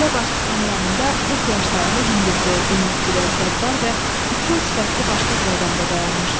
Qəbilə başçısının yanında 40 yaşlarında hündürboy, enlikürək, qəddar və tutqun sifətli başqa bir adam da dayanmışdı.